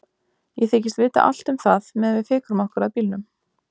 Ég þykist vita allt um það meðan við fikrum okkur að bílnum.